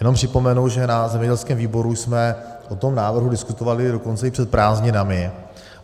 Jenom připomenu, že na zemědělském výboru jsme o tom návrhu diskutovali dokonce i před prázdninami.